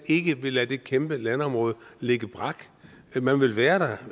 ikke vil lade det kæmpe landområde ligge brak man vil være der